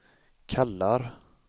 kallar